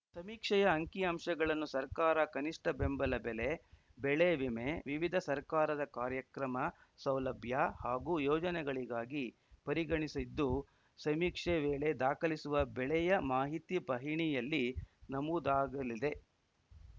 ಸಮೀಕ್ಷೆಯ ಅಂಕಿಅಂಶಗಳನ್ನು ಸರ್ಕಾರ ಕನಿಷ್ಟ ಬೆಂಬಲ ಬೆಲೆ ಬೆಳೆ ವಿಮೆ ವಿವಿಧ ಸರ್ಕಾರದ ಕಾರ್ಯಕ್ರಮ ಸೌಲಭ್ಯ ಹಾಗೂ ಯೋಜನೆಗಳಿಗಾಗಿ ಪರಿಗಣಿಸಿದ್ದು ಸಮೀಕ್ಷೆ ವೇಳೆ ದಾಖಲಿಸುವ ಬೆಳೆಯ ಮಾಹಿತಿ ಪಹಣಿಯಲ್ಲಿ ನಮೂದಾಗಲಿದೆ